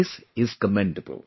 This is commendable